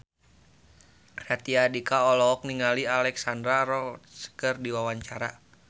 Raditya Dika olohok ningali Alexandra Roach keur diwawancara